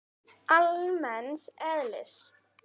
almenns eðlis.